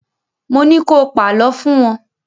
Mo ní ko pàlọ́ fún wọn!